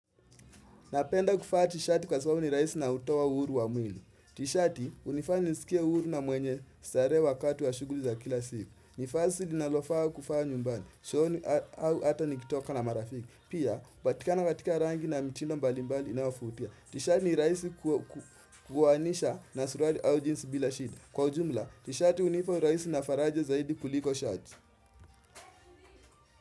Napenda kuvaa tishati kwa sababu ni rahisi na hutoa uhuru wa mwili. Tishati hunifanya nisikie uhuru na mwenye starehe wakati wa shughuli za kila siku. Ni vazi linalofaa kuvaa nyumbani. Jioni au hata nikitoka na marafiki. Pia, hupatikana katika rangi na mitindo mbali mbali inayovutia. Tishati ni rahisi kuanisha na suruali au jeans bila shida. Kwa ujumla, tishati hunifaa urahisi na faraja zaidi kuliko shati.